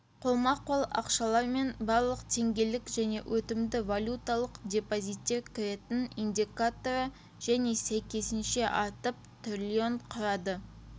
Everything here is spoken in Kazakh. қолма-қол ақшалар мен барлық теңгелік және өтімді валюталық депозиттер кіретін индикаторы және сәйкесінше артып триллион құрады